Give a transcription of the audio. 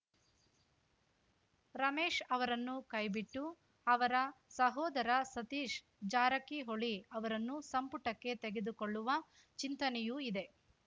ರಮೇಶ್‌ ಅವರನ್ನು ಕೈ ಬಿಟ್ಟು ಅವರ ಸಹೋದರ ಸತೀಶ್‌ ಜಾರಕಿಹೊಳಿ ಅವರನ್ನು ಸಂಪುಟಕ್ಕೆ ತೆಗೆದುಕೊಳ್ಳುವ ಚಿಂತನೆಯೂ ಇದೆ